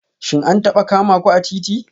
Shin an taba kama ku a titi?